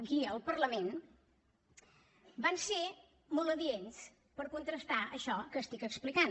aquí al parlament van ser molt adients per contrastar això que estic explicant